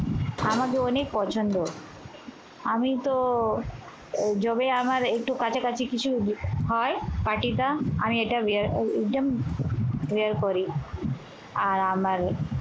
আমারও অনেক পছন্দ আমিতো যবে আমার একটু কাছা কাছি কিছু হ হয়, party টা আমি এটা ম wear করি। আর আমার